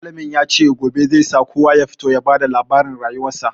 Malamin ya ce gobe zai sa kowa ya fito ya ba da labarin rayuwarsa.